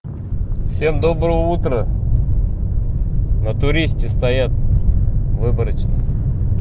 всем доброе утро на туристе стоят выборочно